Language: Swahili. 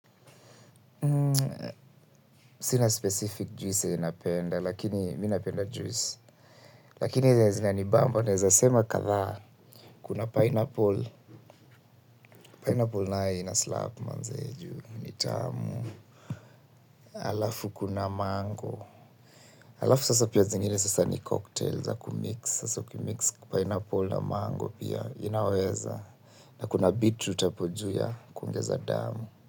Sina specific juice yenye napenda, lakini mi napenda juice. Lakini zinanibamba, naeza sema kama, kuna pineapple, pineapple nayo inaslap manze ju, ni tamu, halafu kuna mango, halafu sasa pia zingine sasa ni cocktail za kumix, sasa ukimix pineapple na mango pia, inaweza, na kuna beetroot hapo juu ya, kuongeza damu.